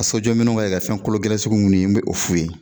Ka sojɔ minɛnw kɛ ka fɛn kolo gɛlɛn sugu minnu ye n bɛ o f'u ye